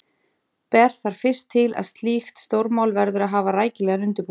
Ber þar fyrst til, að slíkt stórmál verður að hafa rækilegan undirbúning.